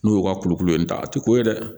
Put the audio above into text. N'u y'u ka kulukulu in ta a tɛ ko ye dɛ